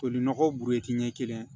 Toli nɔgɔ burɛti ɲɛ kelen